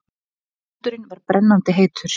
Sandurinn var brennandi heitur.